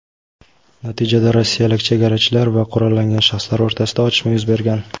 Natijada rossiyalik chegarachilar va qurollangan shaxslar o‘rtasida otishma yuz bergan.